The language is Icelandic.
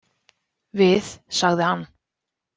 Við, sagði hann.